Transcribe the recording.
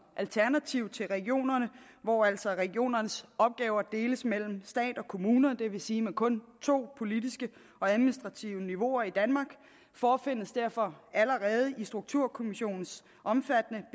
alternativ til regionerne hvor altså regionernes opgaver deles mellem stat og kommuner det vil sige med kun to politisk administrative niveauer i danmark forefindes derfor allerede i strukturkommissionens omfattende